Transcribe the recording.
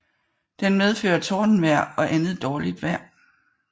Den medfører tordenvejr og andet dårligt vejr